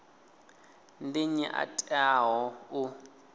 ndi nnyi a teaho u